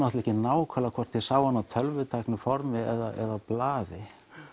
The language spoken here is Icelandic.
ekki nákvæmlega hvort ég sá hana á tölvutæku formi eða á blaði